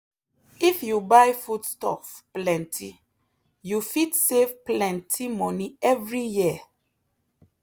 if you buy foodstuff plenty you fit save plenty money every year.